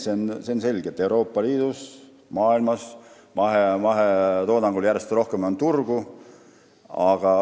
See on selge, et Euroopa Liidus ja üldse maailmas on mahetoodangul järjest rohkem turgu.